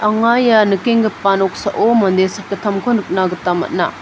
anga ia nikenggipa noksao mande sakgittamko nikna gita man·a.